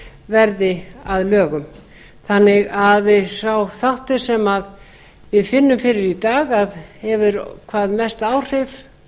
verði að lögum þannig að sá þáttur sem við finnum fyrir í dag að hefur hvað mest áhrif